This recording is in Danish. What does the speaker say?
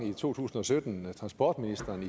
i to tusind og sytten transportministeren